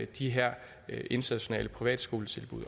de her internationale privatskoletilbud